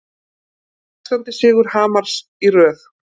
Sextándi sigur Hamars í röð